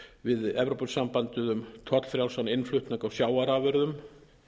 við evrópusambandið um tollfrjálsan innflutning á sjávarafurðum